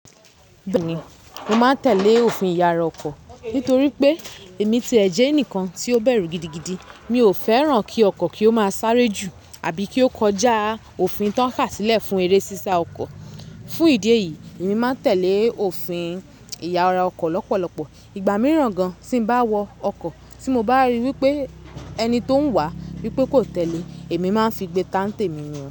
Mo máa ń tẹ̀lé òfin ìyara ọkọ̀ nítorí pé èmi ti ẹ jẹ́ ẹnìkan tí ó bẹ̀rù gidigidi. Mi ò fẹ́ràn kí ọkọ̀ kí ó máa sáré jù àbí kí ó kọjá òfin tó ń kà sílẹ̀ fún eré ṣíṣá ọkọ̀. Fún ìdí èyí, èmi máa ń tẹ̀lé òfin ìyara ọkọ̀ lọ́pọ̀lọpọ̀. Ìgbà mìíràn gan tí ń bá wọ ọkọ̀ tí mo bá ríi wí pé ẹni tó ń wà wí pé kò tẹ̀lé, èmi máa ń figbé tá ǹtẹ̀ mi wọ̀.